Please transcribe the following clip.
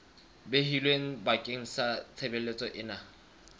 behilweng bakeng sa tshebeletso ena